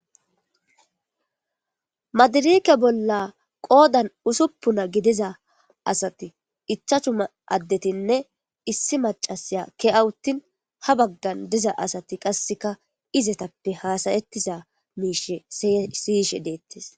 Maadirike bolla qoodan usuppuna gidiza asati ichchachchu addetinne issi macasiya ke'a uttin ha baggan diza asati qasseka izetappe haasayettiza miishshe siyyishe deettes